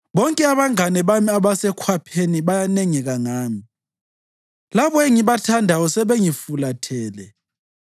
Bonke abangane bami abasekhwapheni bayanengeka ngami; labo engibathandayo sebengifulathele.